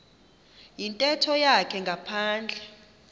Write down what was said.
yintetho yakhe ngaphandle